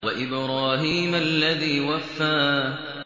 وَإِبْرَاهِيمَ الَّذِي وَفَّىٰ